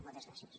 moltes gràcies